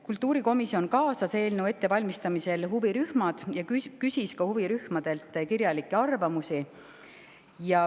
Kultuurikomisjon kaasas eelnõu ettevalmistamisse huvirühmad ja küsis neilt kirjalikke arvamusi.